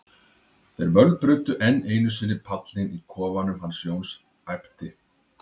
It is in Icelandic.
þeir mölbrutu enn einu sinni pallinn í kofanum hans Jóns, æpti